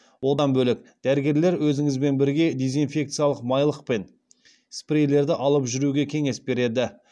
одан бөлек дәрігерлер өзіңізбен бірге дезинфекциялық майлық пен спрейлерді алып жүруге кеңес береді